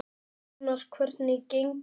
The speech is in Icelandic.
Rúnar, hvernig gengur?